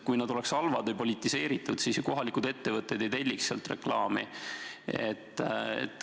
Kui nad oleksid halvad või politiseeritud, siis ju kohalikud ettevõtted ei telliks sealt reklaami.